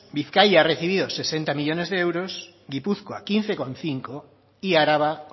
bizkaia ha recibido sesenta millónes de euros gipuzkoa quince coma cinco y araba